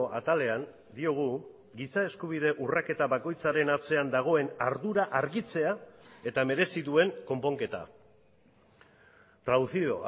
atalean diogu giza eskubide urraketa bakoitzaren atzean dagoen ardura argitzea eta merezi duen konponketa traducido